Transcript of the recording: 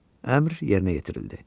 Əmr yerinə yetirildi.